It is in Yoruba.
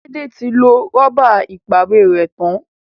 Laide tí lọ Rọ́bà ìpàwérẹ́ tán.